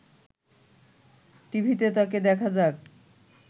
টিভিতে তাকে দেখা যাক